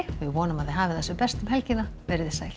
vonum að þið hafið það sem best um helgina verið þið sæl